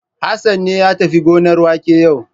Hassan ne ya tafi gonar wake yau.